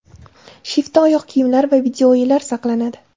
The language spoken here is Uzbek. Shiftda oyoq kiyimlar va video-o‘yinlar saqlanadi.